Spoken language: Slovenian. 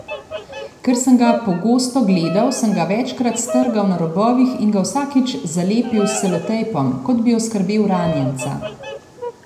Ker sem ga pogosto gledal, sem ga večkrat strgal na robovih in ga vsakič zalepil s selotejpom, kot bi oskrbel ranjenca.